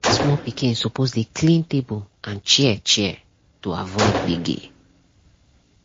small pikin suppose dey clean table and chair chair to avoid gbege.